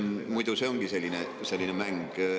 Muidu see ongi selline mäng.